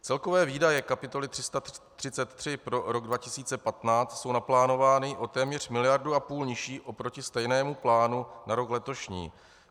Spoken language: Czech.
Celkové výdaje kapitoly 333 pro rok 2015 jsou naplánovány o téměř miliardu a půl nižší oproti stejnému plánu na rok letošní.